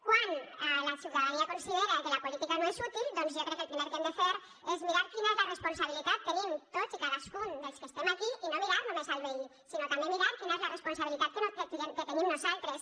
quan la ciutadania considera que la política no és útil doncs jo crec que el primer que hem de fer és mirar quina és la responsabilitat que tenim tots i cadascun dels que estem aquí i no mirar només el veí sinó també mirar quina és la responsabilitat que tenim nosaltres